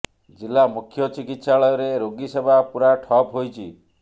ଜିଲ୍ଲା ମୁଖ୍ୟ ଚିକିତ୍ସାଳୟରେ ରୋଗୀ ସେବା ପୂରା ଠପ୍ ହୋଇଛି